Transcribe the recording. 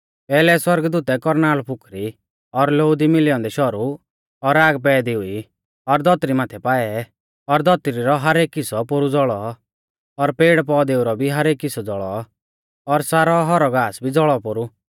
पैहलै सौरगदूतै कौरनाल़ फुकरी और लोऊ दी मिलै औन्दै शौरु और आग पैदी हुई और धौतरी माथै पाऐ और धौतरी रौ एक हिस्सौ पोरु ज़ौल़ौ और पेड़पौधेऊ रौ भी एक हिस्सौ ज़ौल़ौ और सारौ हौरौ घास भी ज़ौल़ौ पोरु